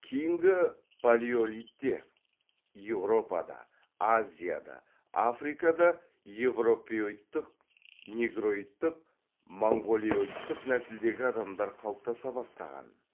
кейінгі палеолитте еуропада азияда африкада еуропеоидтық негроидтық монғолиодтық нәсілдегі адамдар қалыптаса бастаған